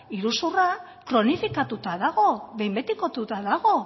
iruzurra kronifikatuta dago behin betikotuta dago